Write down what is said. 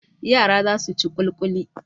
Yara za su ci ƙulƙuli.